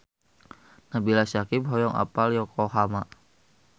Nabila Syakieb hoyong apal Yokohama